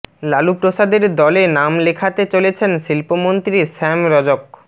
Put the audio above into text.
লালু প্রসাদের দলে নাম লেখাতে চলেছেন শিল্পমন্ত্রী শ্যাম রজক